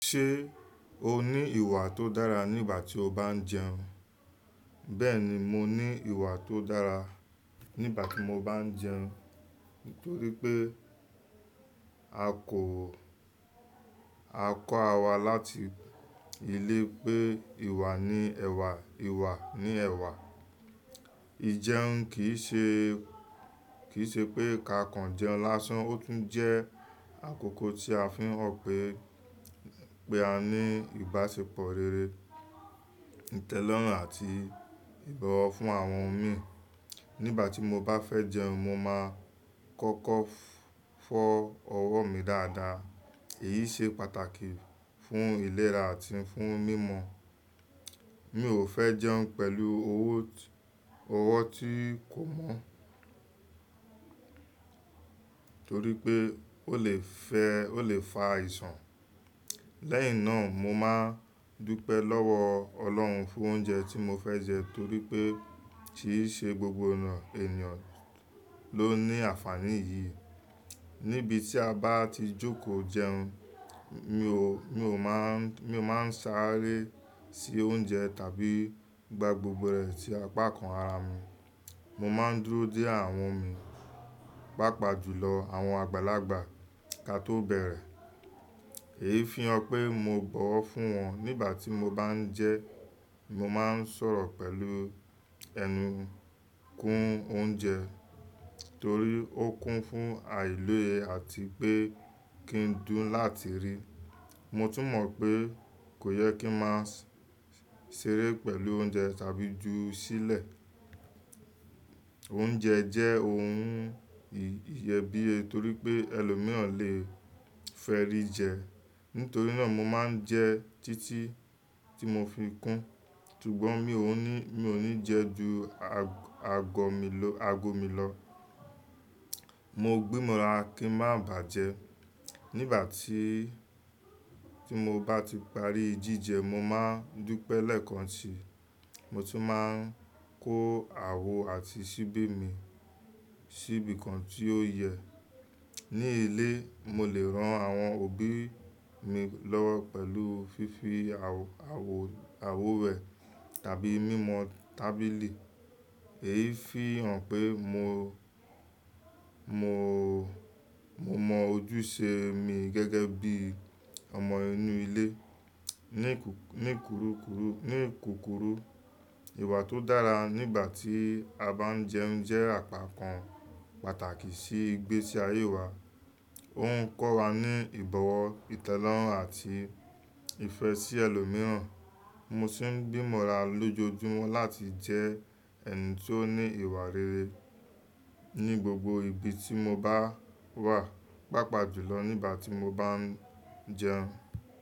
Ṣé o ní ìwà tó dára nígbà tí o bá ń jẹun? Bẹ́ẹ̀ni, mo ní ìwà tó dára nígbà tí mo bá ń jẹun nítorí pé a kọ́ ara wa láti ilé pé ìwà ni ẹ̀wà, ìwà ni ẹ̀wà. Ìjẹun kì í ṣe pé ka kan jẹun lásán, ó tún jẹ́ àkókò tí a fi ń hàn pé a ní ìbáṣepọ̀ rere, ìtẹ́lọ́rùn àti ìbọwọ́ fún àwọn mi. Nígbà tí mo bá fẹ́ jẹun, mo máa kọ́kọ́ fọ́ ọwọ́ mi dáadáa, èyí ṣe pàtàkì fún ìlera àti fún mímọ. Mi ò fẹ́ jẹun pẹ̀lú owo ti, ọwọ́ tí kò mọ́ torí pé ó lè fa àìsàn. Lẹ́yìn náà, mo máa dúpẹ́ lọ́wọ́ Ọlọ́run fún oúnjẹ tí mo fẹ́ jẹ torí pé kì í ṣe gbogbo ènìyàn ló ní àǹfààní yìí. Níbi tí a bá ti jókòó jẹun, mi ò máa ń sáré sí oúnjẹ tàbí gba gbogbo rẹ̀ sí apá kan ara mi. Mo máa ń dúró díẹ̀ àwọn mi, pàápàá jùlọ àwọn àgbàlagbà ká tó bẹ̀rẹ̀. Èyí fi hàn pé mo bọ̀wọ̀ fún wọn. Nígbà tí mo bá ń jẹun, mo máa ń sọ̀rọ̀ pẹ̀lú ẹnu kún oúnjẹ torí ó kún fún àìlóye àti pé kí n dùn láti rí. Mo tún mọ̀ pé kò yẹ kí n máa ṣeré pẹ̀lú oúnjẹ tàbí ju sílẹ̀. Oúnjẹ jẹ́ ohun ìyẹ́bíye torí pé ẹlòmíràn lè fẹ́ rí jẹ. Nítorí náà mo máa ń jẹ títí tí mo fi kún, ṣùgbọ́n mi ò ní jẹ ju ago mi lọ. Mo gbí ìmọ̀ràn kí ń má bàjẹ́. Nígbà tí mo bá ti parí jíjẹ, mo máa ń dúpẹ́ lẹ́ẹ̀kan sí, mo tún máa ń kó àwo àti ṣíbí mi síbi kan tí ó yẹ. Ní ilé, mo lè ran àwọn òbí mi lọ́wọ́ pẹ̀lú fífi àwo rẹ̀ tàbí mímọ tábìlì. Èyí fi hàn pé mo mọ ojúṣe mi gẹ́gẹ́ bí ọmọ inú ilé. Ní kúrùkùrù, ìwà tó dára nígbà tí a bá ń jẹun jẹ́ àpá kan pàtàkì sí ìgbésí ayé wa. Ó ń kọ́ wa ní ìbọ̀wọ̀, ìtẹ́lọ́rùn àti ìfẹ́ sí ẹlòmíràn. Mo sì ń gbí ìmọ̀ràn lójojúmọ́ láti jẹ́ ẹni tí ó ní ìwà rere ní gbogbo ibi tí mo bá wà, pàápàá jùlọ nígbà tí mo bá ń jẹun.